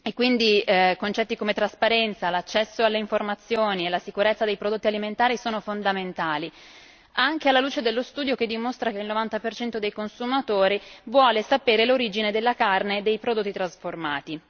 Quindi, concetti come la trasparenza, l'accesso alle informazioni e la sicurezza dei prodotti alimentari sono fondamentali, anche alla luce dello studio che dimostra che il 90 dei consumatori vuole sapere l'origine della carne dei prodotti trasformati.